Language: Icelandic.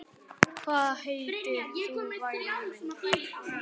Hvað heitir þú væni minn?